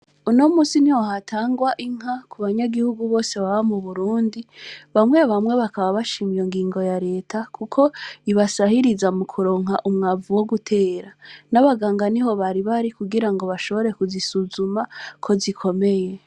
Uno musi ni hohatangwa inka ku banyagihugu bose baba mu burundi bamwe bamwe bakaba bashimye ngingo ya leta, kuko ibasahiriza mu kuronka umwavu wo gutera n'abaganga ni ho bari bari kugira ngo bashobore kuzisuzuma ko zikomeye.